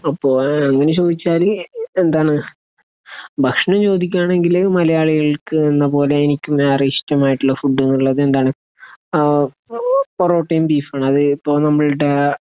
അപ്പൊ അങ്ങനെ ചോദിച്ചാൽ എന്താണ്? ഭകഷണം ചോദിക്കുകയാണെങ്കിൽ മലയാളികൾക്ക് എന്നപോലെ എനിക്കും ഏറെ ഇഷ്ടമായിട്ടുള്ള ഫുഡ് എന്നുള്ളത് എന്താണ്? അഹ് അത് പൊറോട്ടയും ബീഫുമാണ്. അത് ഇപ്പോൾ നമ്മളുടെ